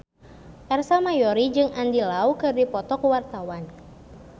Ersa Mayori jeung Andy Lau keur dipoto ku wartawan